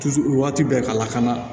waati bɛɛ ka lakana